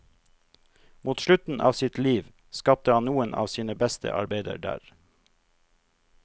Mot slutten av sitt liv, skapte han noen av sine beste arbeider der.